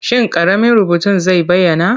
Shin ƙaramin rubutun zai bayyana?